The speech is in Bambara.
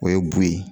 O ye bun ye